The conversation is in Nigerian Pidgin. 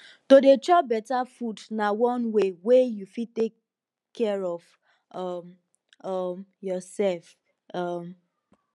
to dey chop beta food na one way wey you fit take care of um um yoursef um